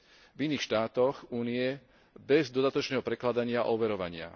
v iných štátoch Únie bez dodatočného prekladania a overovania.